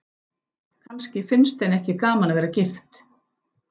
Kannski finnst henni ekki gaman að vera gift.